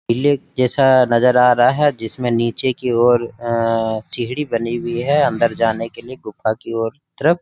किले जैसा नजर आ रहा है जिसमे नीचे की और अ सीढ़ि बनी हुई है अंदर जाने के लिए गुफा की और तरफ--